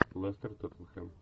лестер тоттенхэм